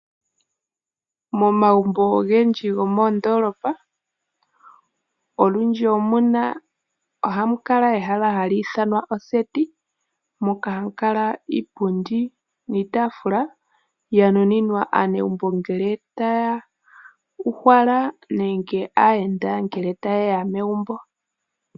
Momagumbo ogendji gomoodoolopa olundji ohamu kala ehala hali ithanwa oseti moka hamu kala iipundi niitaafula yanuninwa aanegumbo ngele taya uhala nenge aayenda ngele yeya megumbo.